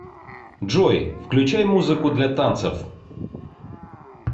джой включай музыку для танцев